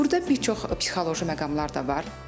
Burda bir çox psixoloji məqamlar da var.